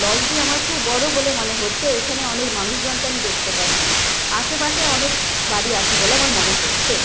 লঞ্চটি আমার খুব বড় বলে মনে হচ্ছে এখানে অনেক মানুষজনকে আমি দেখতে পাচ্ছি আশেপাশে অনেক বাড়ি আছে বলে আমার মনে হচ্ছে।